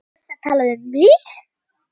Varstu að tala við mig?